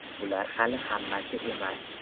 Bular hali hammasi emas.